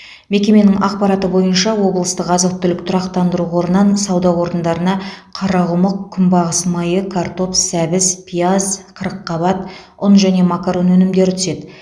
мекеменің ақпараты бойынша облыстық азық түлік тұрақтандыру қорынан сауда орындарына қарақұмық күнбағыс майы картоп сәбіз пияз қырыққабат ұн және макарон өнімдері түседі